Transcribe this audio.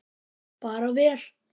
Bara vel.